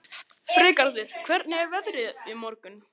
Freygarður, hvernig er veðrið á morgun?